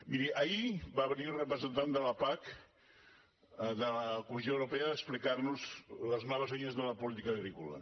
miri ahir va venir el representant de la pac de la comissió europea a explicar nos les noves línies de la política agrícola